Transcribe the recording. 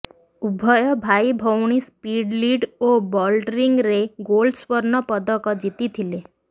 ଉଭୟ ଭାଇ ଭଉଣୀ ସ୍ପିଡ୍ ଲିଡ୍ ଓ ବୋଲ୍ଡରିଂରେ ଗୋଲ୍ଡ ସ୍ୱର୍ଣ୍ଣ ପଦକ ଜିତିଥିଲେ